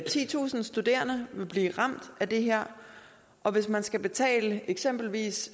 titusind studerende vil blive ramt af det her og hvis man skal betale eksempelvis